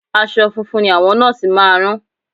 Aṣọ funfun ni àwọn Nọ́ọ̀sì máa rán